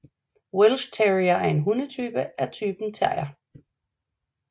Welsh Terrier er en hunderace af typen terrier